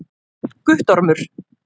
Guttormur